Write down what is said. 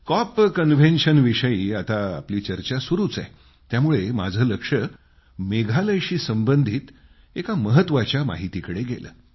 COP कन्व्हेन्शनविषयी आत्ता आपली चर्चा सुरू आहेच त्यामुळं माझं लक्ष मेघालयाशी संबंधित एका महत्वाच्या माहितीकडं गेलं